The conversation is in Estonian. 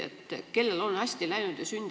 Kellel on hästi läinud?